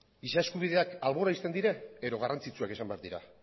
giza eskubideak albora uzten dira edo garrantzitsuak izan behar dira